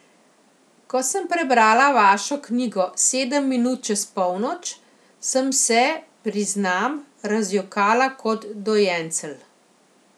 Ko sem prebrala vašo knjigo Sedem minut čez polnoč, sem se, priznam, razjokala kot dojencelj.